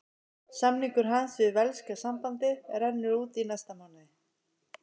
Samningur hans við velska sambandið rennur út í næsta mánuði.